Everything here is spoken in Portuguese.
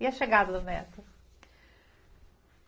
E a chegada do neto?